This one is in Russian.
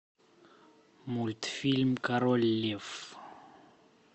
мультфильм король лев